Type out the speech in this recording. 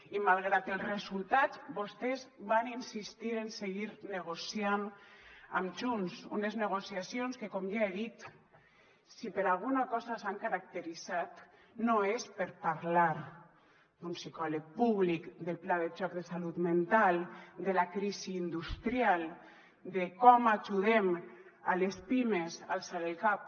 i malgrat els resultats vostès van insistir en seguir negociant amb junts unes negociacions que com ja he dit si per alguna cosa s’han caracteritzat no és per parlar d’un psicòleg públic del pla de xoc de salut mental de la crisi industrial de com ajudem les pimes a alçar el cap